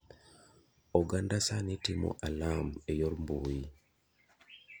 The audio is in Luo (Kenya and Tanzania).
Oganda sani timo alam e yor mbui.